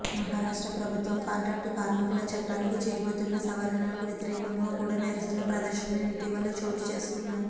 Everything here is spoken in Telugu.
మహారాష్ట్ర ప్రభుత్వం కాంట్రాక్టు కార్మికుల చట్టానికి చేయబోతున్న సవరణలకు వ్యతిరేకం గా కూడా నిరసన ప్రదర్శనలు ఇటీవల చోటుచేసుకొన్నాయి